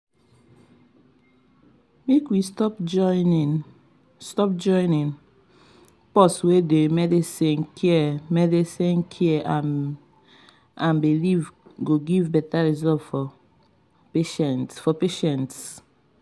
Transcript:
make we stop joinin’ pause wey dey medical care medical care and belief go give beta result for patients.